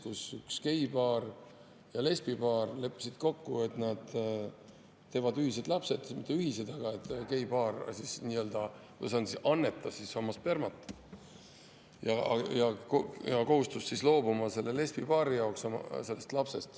Nimelt, üks geipaar ja lesbipaar leppisid kokku, et nad teevad ühised lapsed, või mitte ühised, aga geipaar nii-öelda annetas oma spermat ja kohustus sellest lapsest lesbipaari heaks loobuma.